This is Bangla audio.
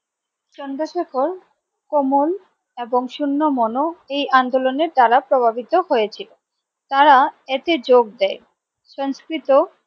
চন্দ্রশেখর কোমল এবং শূন্য মনো এই আন্দোলনের দ্বারা প্রভাবিত হয়েছিল তারা এতে যোগ দেয় সংস্কৃত।